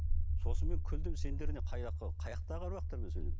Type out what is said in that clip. сосын мен күлдім сендер не қай жақтағы аруақтармен